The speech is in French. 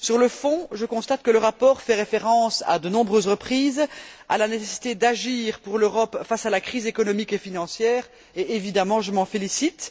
Sur le fond, je constate que le rapport fait référence, à de nombreuses reprises, à la nécessité, pour l'Europe, d'agir face à la crise économique et financière et, évidemment, je m'en félicite.